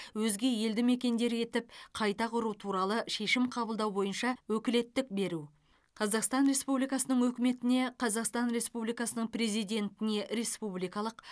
өзге елді мекендер етіп қайта құру туралы шешім қабылдау бойынша өкілеттік беру қазақстан республикасының үкіметіне қазақстан республикасының президентіне республикалық